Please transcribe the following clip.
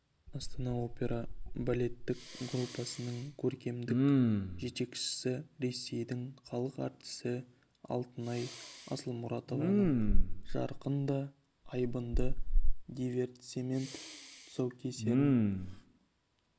астана опера балеттік труппасының көркемдік жетекшісі ресейдің халық әртісі алтынай асылмұратованың жарқын да айбынды дивертисмент тұсаукесерін